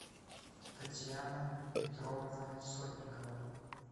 татьяна петровна сотникова